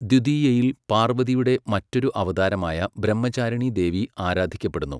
ദ്വിതീയയിൽ പാർവതിയുടെ മറ്റൊരു അവതാരമായ ബ്രഹ്മചാരിണീദേവി ആരാധിക്കപ്പെടുന്നു.